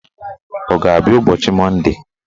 Ọ ga-abịa ụbọchị Monde